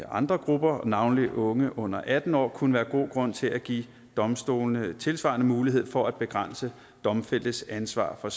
andre grupper navnlig unge under atten år kunne være god grund til at give domstolene tilsvarende mulighed for at begrænse domfældtes ansvar for